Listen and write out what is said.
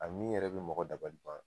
A min yɛrɛ bi mɔgɔ dabali ban